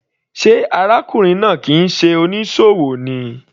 Sé arákùnrin náà kìí ṣe onísòwò ni.